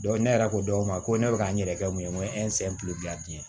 ne yɛrɛ ko dɔw ma ko ne bɛ ka n yɛrɛ kɛ mun ye n ko